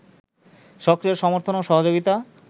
সক্রিয় সমর্থন ও সহযোগিতা